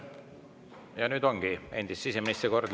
Nüüd ongi endise siseministri kord.